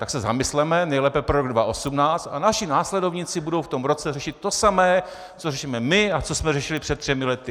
Tak se zamysleme, nejlépe pro rok 2018, a naši následovníci budou v tom roce řešit to samé, co řešíme my a co jsme řešili před třemi lety.